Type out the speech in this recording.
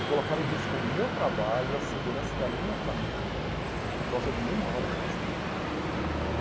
E colocar em risco o meu trabalho, a segurança da minha família, por causa de uma hora extra?